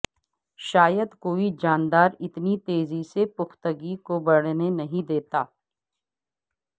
شاید کوئی جاندار اتنی تیزی سے پختگی کو بڑھنے نہیں دیتا